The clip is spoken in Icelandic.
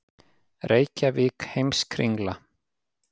Reykjavík, Heimskringla.